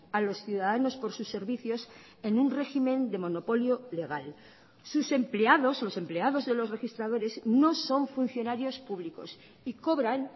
a los ciudadanos por sus servicios en un régimen de monopolio legal sus empleados los empleados de los registradores no son funcionarios públicos y cobran